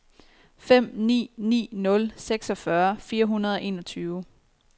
fem ni ni nul seksogfyrre fire hundrede og enogtyve